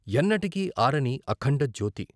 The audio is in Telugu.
ఎన్నటికీ ఆరని అఖండజ్యోతి.